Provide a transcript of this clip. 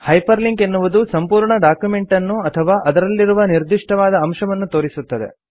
hyper link ಎನ್ನುವುದು ಸಂಪೂರ್ಣ ಡಾಕ್ಯುಮೆಂಟನ್ನು ಅಥವಾ ಅದರಲ್ಲಿರುವ ನಿರ್ದಿಷ್ಟವಾದ ಅಂಶವನ್ನು ತೋರಿಸುತ್ತದೆ